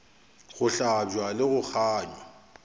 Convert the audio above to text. go hlabja le go gangwa